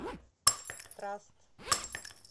траст